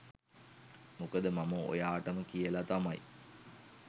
මොකද මම ඔයාටම කියලා තමයි